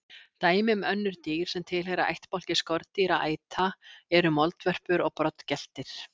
Dæmi um önnur dýr sem tilheyra ættbálki skordýraæta eru moldvörpur og broddgeltir.